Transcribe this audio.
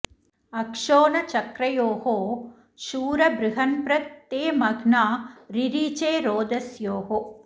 अक्षो न चक्र्योः शूर बृहन्प्र ते मह्ना रिरिचे रोदस्योः